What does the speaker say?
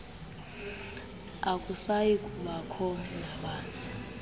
akusayi kubakho nabani